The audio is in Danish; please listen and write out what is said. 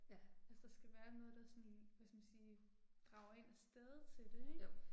Altså der skal være noget der sådan, hvad skal man sige, drager én afsted til det ik